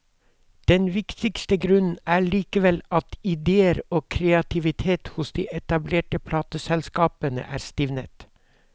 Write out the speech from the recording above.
Den viktigste grunnen er likevel at idéer og kreativitet hos de etablerte plateselskapene er stivnet.